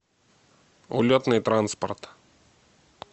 улетный транспорт